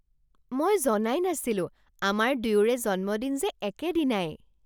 মই জনাই নাছিলোঁ আমাৰ দুয়োৰে জন্মদিন যে একেদিনাই!